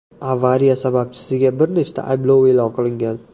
Avariya sababchisiga bir nechta ayblov e’lon qilingan.